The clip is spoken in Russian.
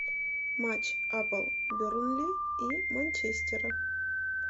матч апл бернли и манчестера